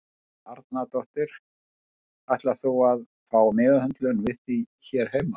Helga Arnardóttir: Ætlar þú að fá meðhöndlun við því hér heima?